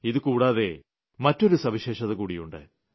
ഇത് കൂടാതെ മറ്റൊരു സവിശേഷത കൂടിയുണ്ട്